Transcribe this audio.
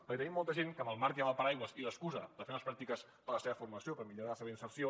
perquè tenim molta gent que amb el marc i amb el paraigua i l’excusa de fer unes pràctiques per a la seva formació per millorar la seva inserció